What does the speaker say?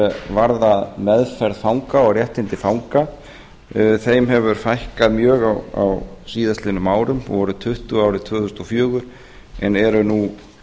varða meðferð fanga og réttindi fanga hefur fækkað mjög á síðastliðnum árum voru tuttugu árið tvö þúsund og fjögur en eru nú